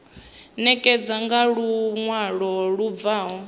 ṋekane nga luṅwalo lu bvaho